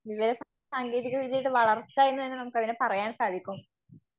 വെ സാങ്കേതികവിദ്യയുടെ വളർച്ച എന്ന് അതിനെ നമുക്ക് പറയാൻ സാധിക്കും.